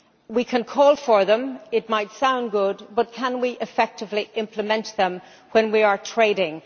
We can call for them, and it might sound good, but can we effectively implement them when we are trading?